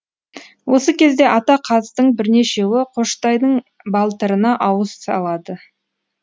осы кезде ата қаздың бірнешеуі қоштайдың балтырына ауыз салады